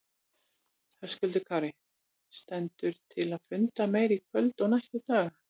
Höskuldur Kári: Stendur til að funda meira í kvöld og næstu daga?